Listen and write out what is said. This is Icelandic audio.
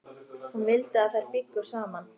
Hún vildi að þær byggju þar saman.